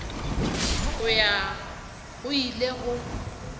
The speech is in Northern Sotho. go ya go ile go